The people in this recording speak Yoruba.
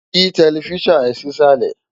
Yí tẹlifísàn ẹ sísàlẹ̀